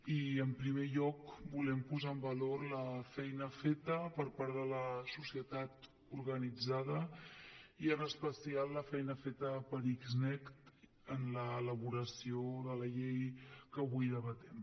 i en primer lloc volem posar en valor la feina feta per part de la societat organitzada i en especial la feina feta per xnet en l’elaboració de la llei que avui debatem